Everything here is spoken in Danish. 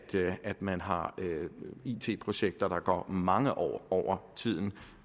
man har it projekter der går mange år over tiden